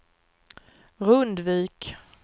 Rundvik